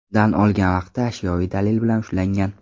dan olgan vaqtda ashyoviy dalil bilan ushlangan.